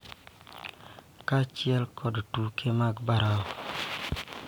Kaachiel kod tuke mag baraf,